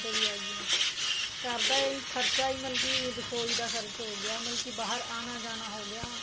ਤੇ ਵੀ ਹੈਗੀਆਂ ਘਰ ਦਾ ਇਹ ਖਰਚਾ ਹੀ ਮਤਲਬ ਕੀ ਰਸੋਈ ਦਾ ਖਰਚ ਹੋ ਗਿਆ ਮਤਲਬ ਕੀ ਬਹਾਰ ਆਣਾ ਜਾਣਾ ਹੋ ਗਿਆ